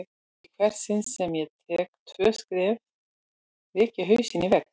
Í hvert sinn sem ég tek tvö skref rek ég hausinn í vegg.